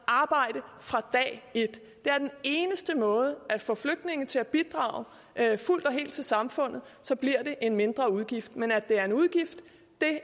arbejde fra dag et det er den eneste måde at få flygtninge til at bidrage fuldt og helt til samfundet på så bliver det en mindre udgift men at det er en udgift